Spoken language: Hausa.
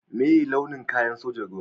Menene launin kayan sojan ruwa?